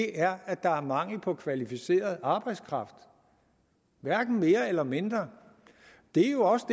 er at der er mangel på kvalificeret arbejdskraft hverken mere eller mindre det er jo også